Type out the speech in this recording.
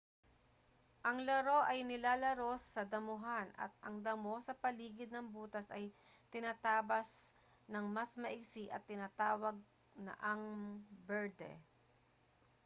ang laro ay nilalaro sa damuhan at ang damo sa paligid ng butas ay tinatabas nang mas maigsi at tinatawag na ang berde